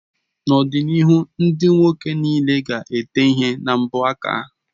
N'ọdịnihu ndị nwoke niile ga-ete ihe na mbọ aka